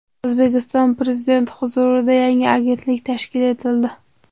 O‘zbekiston Prezidenti huzurida yangi agentlik tashkil etildi.